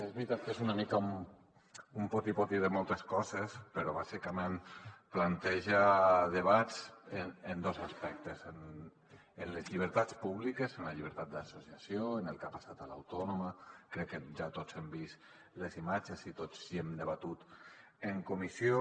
és veritat que és una mica un poti poti de moltes coses però bàsicament planteja debats en dos aspectes en les llibertats públiques en la llibertat d’associació en el que ha passat a l’autònoma crec que ja tots hem vist les imatges i tots ho hem debatut en comissió